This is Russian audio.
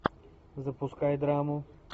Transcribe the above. запускай драму